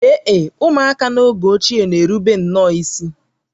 Ee e, ụmụaka n’oge ochie na-erubere nnọọ isi